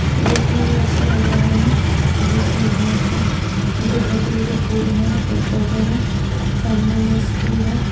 देखने में अच्छा लग रहा है बीच में घास है मुझे धतूर के फूल हैं और पौधे हैं सामने में स्कूल है।